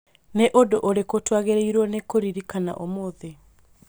Nĩ ũndũ ũrĩkũ twagĩrĩirũo nĩ kũririkana ũmũthĩ?